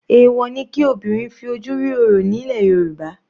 Èwọ̀ ni kí obìnrin fi ojú rí orò ní ilẹ̀ Yorùbá.